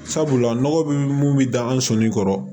Sabula nɔgɔ bɛ mun bɛ da an sonin kɔrɔ